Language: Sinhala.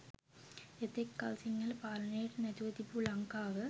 එතෙක් කල් සිංහල පාලනයට නතුව තිබූ ලංකාව